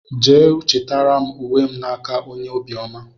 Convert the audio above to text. Jee chitara m ùwé m na-nke ónyé obiọma!!!!